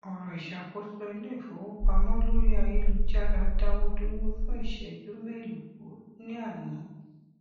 ẹrọ ìṣàkóso iléifowopamọ lórí ayélujára dáwọ dúró fún ìsẹjú mélòó ní àná